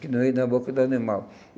que não ia na boca do animal.